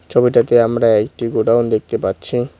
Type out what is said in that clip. ছবিটাতে আমরা একটি গোডাউন দেখতে পাচ্ছি।